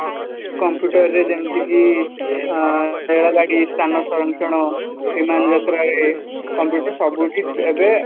computer ଯେମିତିକି ଆଁ ରେଳ ଗାଡି ସ୍ଥାନ ସଂରକ୍ଷଣ ବିମାନ ଯାତ୍ରାରେ computer ସବୁଠି ଏବେ